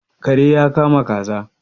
Kare ya kama kaza